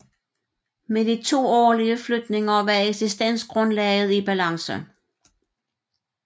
Med de to årlige flytninger var eksistensgrundlaget i balance